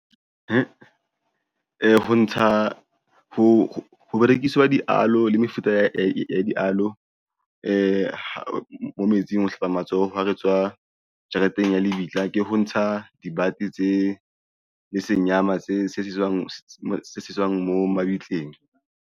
Ee, ho ntsha ho berekiswa di-aloe le mefuta ya di-aloe mo metsing ho hlapa matsoho ha re tswa jareteng ya lebitla ke ho ntsha dibate tse le senyama tse sejeswang mo mabitleng.